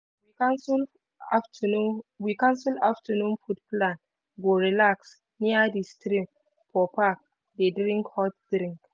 we cancel afternoon food plan go relax near di stream for park dey drink hot drink.